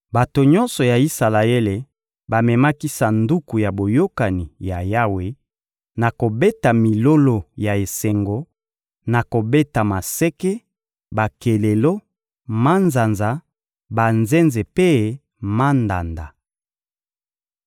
Bato nyonso ya Isalaele bamemaki Sanduku ya Boyokani ya Yawe na kobeta milolo ya esengo, na kobeta maseke, bakelelo, manzanza, banzenze mpe mandanda.